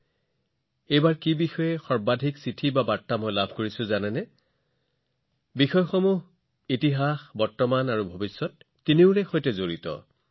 আপোনালোকে জানেনে এইবাৰ মই চিঠি আৰু বাৰ্তাত আটাইতকৈ কি বিষয় অধিক পাইছো এই বিষয়টো ইতিহাস বৰ্তমান আৰু ভৱিষ্যতৰ সৈতে সম্পৰ্কিত